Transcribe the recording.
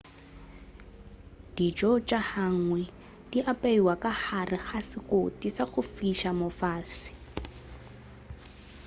dijo tša hangi di apeiwa ka gare ga sekoti sa go fiša mo fase